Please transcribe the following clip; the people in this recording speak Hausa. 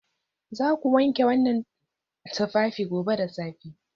Za ku wanke waɗannan tufafi gobe da safe!